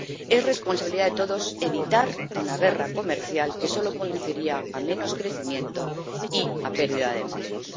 Es responsabilidad de todos evitar una guerra comercial que solo conduciría a menos crecimiento y a pérdida de empleos.